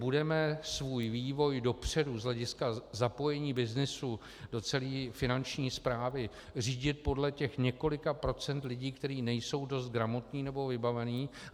Budeme svůj vývoj dopředu z hlediska zapojení byznysu do celé finanční správy řídit podle těch několika procent lidí, kteří nejsou dost gramotní nebo vybavení?